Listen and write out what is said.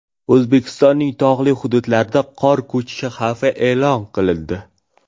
O‘zbekistonning tog‘li hududlarida qor ko‘chishi xavfi e’lon qilindi.